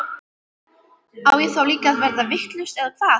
Á ég þá líka að verða vitlaus eða hvað?